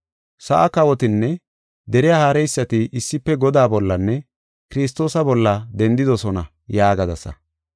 Sa7aa kawotinne deriya haareysati issife Godaa bollanne Kiristoosa bolla dendidosona’ yaagadasa.